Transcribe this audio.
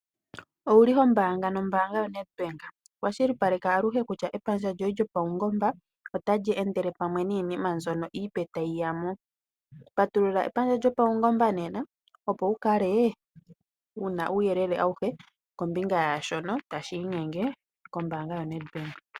Owuli hombaanga nombanga yoNedbank ? Kwashilipaleka aluhe kutya epandja lyoye lyopawungomba otali endele pamwe niinima mbyoka opo tayi yamo. Patulula epandja lyopawungomba nena opo wu kale wuna uuyelele awuhe kombinga yaashono tashi inyenge kombanga yoNedbank.